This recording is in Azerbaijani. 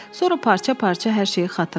Sonra parça-parça hər şeyi xatırladı.